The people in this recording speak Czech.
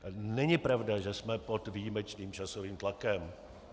Není pravda, že jsme pod výjimečným časovým tlakem.